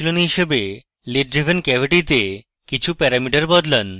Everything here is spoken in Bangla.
অনুশীলনী হিসাবে lid driven cavity তে কিছু প্যারামিটার বদলান